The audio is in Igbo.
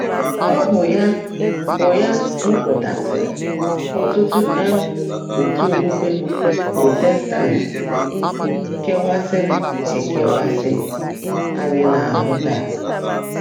Ọ̀ bụ́ yá bụ́ yá mụ́pụ́taásị́rị́ ọ́tụ́tụ́ um ọ̀tú́ ókpukpé Prọ́tẹ̀stã́t kèwáàsị́rị́ èkèwáasị́ ányị́ ná-áhụ́ táá?